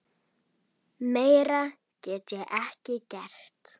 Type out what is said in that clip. Meira get ég ekki gert.